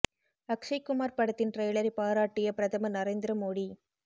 அக்ஷய் குமார் படத்தின் டிரெய்லரை பாராட்டிய பிரதமர் நரேந்திர மோடி